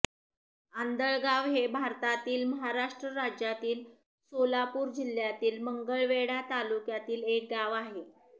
आंधळगाव हे भारतातील महाराष्ट्र राज्यातील सोलापूर जिल्ह्यातील मंगळवेढा तालुक्यातील एक गाव आहे